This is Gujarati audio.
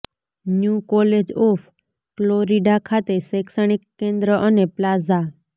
ન્યૂ કોલેજ ઓફ ફ્લોરિડા ખાતે શૈક્ષણિક કેન્દ્ર અને પ્લાઝા